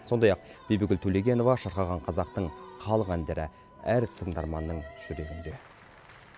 сондай ақ бибігүл төлегенова шырқаған қазақтың халық әндері әр тыңдарманның жүрегінде